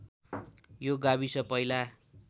यो गाविस पहिला